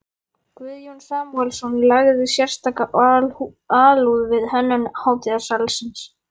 Guðjón Samúelsson lagði sérstaka alúð við hönnun hátíðarsalarins.